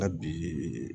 Hali bi